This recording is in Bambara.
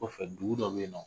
O kɔfɛ dugu dɔ bɛ yen nɔ